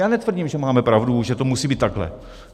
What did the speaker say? Já netvrdím, že máme pravdu, že to musí být takhle.